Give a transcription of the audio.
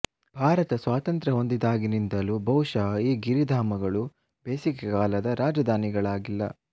ಭಾರತ ಸ್ವಾತಂತ್ರ್ಯ ಹೊಂದಿದಾಗಿನಿಂದಲೂ ಬಹುಶಃ ಈ ಗಿರಿಧಾಮಗಳು ಬೇಸಿಗೆ ಕಾಲದ ರಾಜಧಾನಿಗಳಾಗಿಲ್ಲ